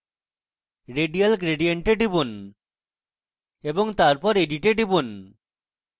radial gradient এ টিপুন এবং তারপর edit এ টিপুন